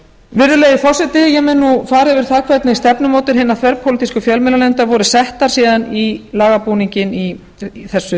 virðulegi forseti ég mun nú fara yfir það hvernig stefnumótun hinnar þverpólitísku fjölmiðlanefndar voru settar síðan í lagabúninginn í þessu